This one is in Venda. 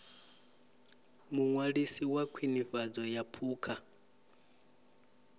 muṅwalisi wa khwinifhadzo ya phukha